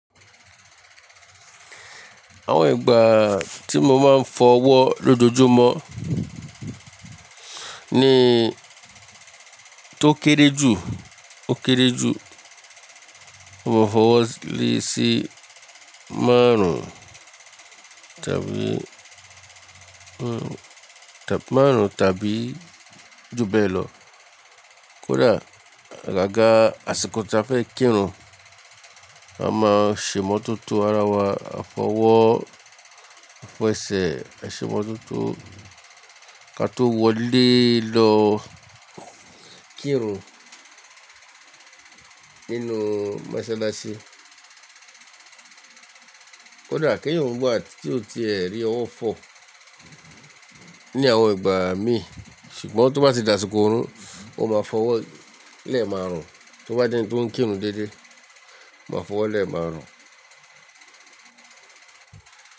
Àwọn ìgbà tí mo máa ń fọ ọwọ́ lójoojúmọ́ ni tó kéré jù ó kéré jù, mo fọ́ ọwọ́ léèsì márùn-ún tàbí, márùn-ún tàbí ju bẹ́ẹ̀ lọ. Kódà àgàgà àsìkò tí a fẹ́ kírun, a máa ṣe ìmọ́tótó ara wa, a fọ ọwọ́, a fọ ẹsẹ̀, ẹ ṣe ìmọ́tótó ka tó wọlé lọ kírun nínú mọṣáláṣí. Kódà kí ẹ̀yán wa tí ó ti ẹ́ rí ọwọ́ fọ̀ ní àwọn ìgbà mi, ṣùgbọ́n tó bá ti dàsìkò ìrun, ó máa fọ́ ọwọ́ lẹ́ẹ̀ márùn-ún. Tó bá jẹ́ ẹni tó ń kírun déédé, ó máa fọ́ ọwọ́ lẹ́ẹ̀ márùn-ún.